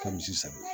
Ka misi san